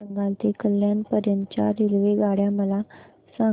पश्चिम बंगाल ते कल्याण पर्यंत च्या रेल्वेगाड्या मला सांगा